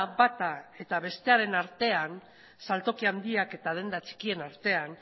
bata eta bestearen artean saltoki handiak eta denda txikien artean